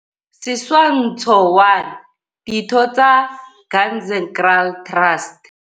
Setshwantsho 1. Ditho tsa Ganzekraal Trust.